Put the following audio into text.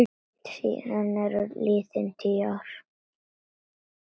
Síðan eru liðin tíu ár.